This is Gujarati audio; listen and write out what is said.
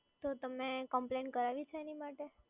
તો તમે કમ્પ્લેન કરાવી છે એની માટે?